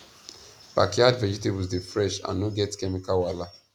backyard vegetables dey fresh and no get chemical wahala